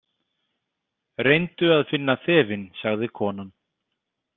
Reyndu að finna þefinn, sagði konan.